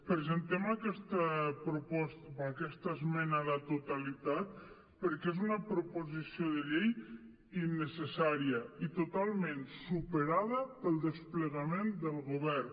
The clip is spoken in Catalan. presentem aquesta esmena a la totalitat perquè és una proposició de llei innecessària i totalment superada pel desplegament del govern